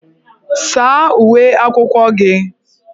Saa uwe akwụkwọ gị!